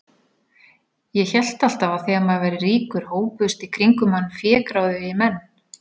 Ég hélt alltaf að þegar maður væri ríkur hópuðust í kringum mann fégráðugir menn.